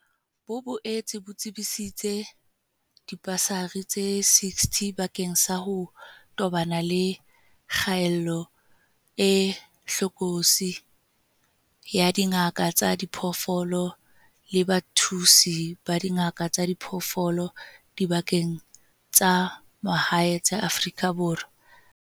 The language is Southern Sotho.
Bo boetse bo tsebisitse dibasari tse 60 bakeng sa ho tobana le kgaello e hlokolosi ya dingaka tsa diphoofolo le bathusi ba dingaka tsa diphoofolo dibakeng tsa mahae tsa Afrika Borwa.